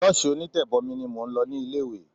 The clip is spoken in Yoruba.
Ṣọ́ọ̀ṣì onítẹ̀bomi ni mò ń lọ ní ilé ìwé.